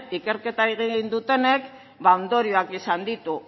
ikerketa egin dutenek ba ondorioak izan ditu